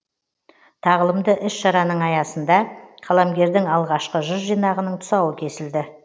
тағылымды іс шараның аясында қаламгердің алғашқы жыр жинағының тұсауы кесілді